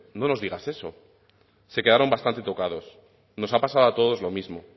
no nos digas eso se quedaron bastante tocados nos ha pasado a todos lo mismo